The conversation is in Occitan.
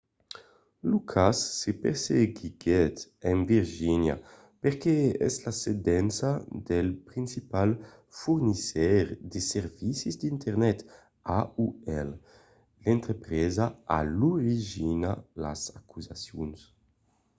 lo cas se perseguiguèt en virgínia perque es la sedença del principal fornisseire de servicis d'internet aol l'entrepresa a l'origina las acusacions